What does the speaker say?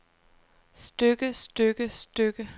stykke stykke stykke